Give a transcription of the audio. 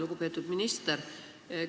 Lugupeetud minister!